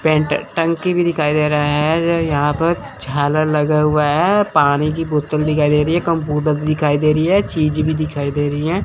Paint टंकी भी दिखाई दे रहा है यहां पर झालर लगा हुआ है पानी की बोतल दिखाई दे रही है कंप्यूटर दिखाई दे रही है चीज भी दिखाई दे रही हैं।